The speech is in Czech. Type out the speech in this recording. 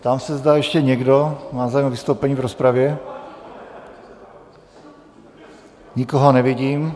Ptám se, zda ještě někdo má zájem o vystoupení v rozpravě - nikoho nevidím.